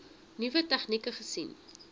nuwe tegnieke gesien